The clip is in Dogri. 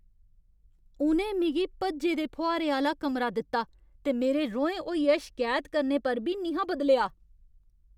उ'नें मिगी भज्जे दे फुहारे आह्‌ला कमरा दित्ता ते मेरे रोहें होइयै शकैत करने पर बी निं हा बदलेआ ।